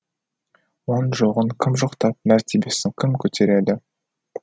оның жоғын кім жоқтап мәртебесін кім көтереді